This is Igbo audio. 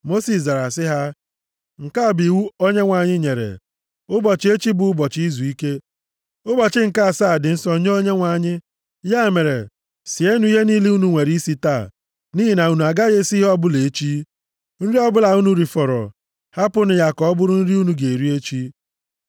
Mosis zara sị ha, “Nke a bụ iwu Onyenwe anyị nyere: ‘Ụbọchị echi bụ ụbọchị izuike, ụbọchị nke asaa dị nsọ nye Onyenwe anyị. Ya mere, sienụ ihe niile unu nwere isi taa, nʼihi na unu agaghị esi ihe ọbụla echi. Nri ọbụla unu rifọrọ, hapụnụ ya ka ọ bụrụ nri unu ga-eri echi.’ ”